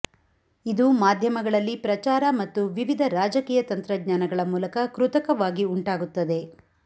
ಇದು ಮಾಧ್ಯಮಗಳಲ್ಲಿ ಪ್ರಚಾರ ಮತ್ತು ವಿವಿಧ ರಾಜಕೀಯ ತಂತ್ರಜ್ಞಾನಗಳ ಮೂಲಕ ಕೃತಕವಾಗಿ ಉಂಟಾಗುತ್ತದೆ